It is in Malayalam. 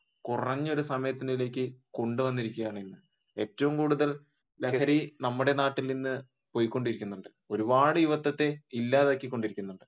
കുറഞ്ഞ ഒരു സമയത്തേക്ക് കൊണ്ടുവന്നിരിക്കുകയാണ്. ഏറ്റവും കൂടുതൽ ലഹരി നമ്മുടെ നാട്ടിൽ നിന്ന് പോയികൊണ്ടിരിക്കുന്നുണ്ട് ഒരുപാട് യുവത്വത്തെ ഇല്ലാതാക്കി കൊണ്ടിരിക്കുന്നുണ്ട്